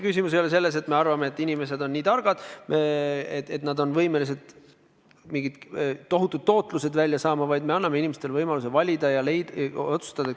Küsimus ei ole selles, et me arvame, et inimesed on nii targad, et nad on võimelised mingid tohutud tootlused saavutama, aga me anname inimestele võimaluse valida ja otsustada.